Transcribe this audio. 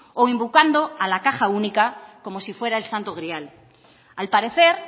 o invocando a la caja única como si fuera el santo grial al parecer